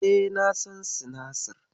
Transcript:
E, na san sinasir.